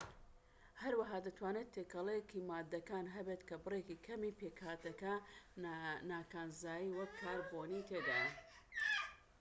هەروەها دەتوانیت تێکەڵەیەکی ماددەکان هەبێت کە بڕێکی کەمی پێکهاتەی نا کانزایی وەک کاربۆنی تێدایە